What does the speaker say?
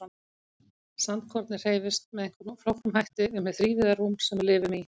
Sandkornið hreyfist með einhverjum flóknum hætti um hið þrívíða rúm sem við lifum í.